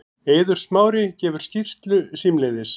Eiður Smári gefur skýrslu símleiðis